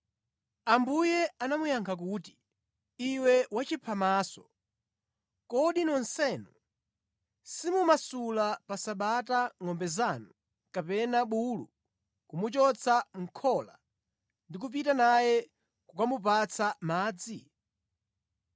Ambuye anamuyankha kuti, “Iwe wachiphamaso! Kodi nonsenu simumasula pa Sabata ngʼombe zanu kapena bulu kumuchotsa mʼkhola ndi kupita naye kukamupatsa madzi?